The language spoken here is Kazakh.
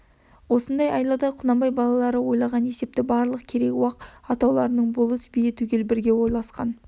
осындай айлада құнанбай балалары ойлаған есепті барлық керей уақ атаулының болыс биі түгел бірге ойласқан